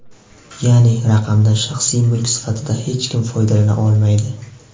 Ya’ni raqamdan shaxsiy mulk sifatida hech kim foydalana olmaydi.